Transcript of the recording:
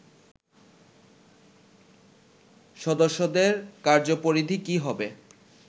সদস্যদের কার্যপরিধি কি হবে